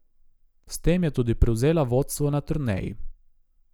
S tem je tudi prevzela vodstvo na turneji.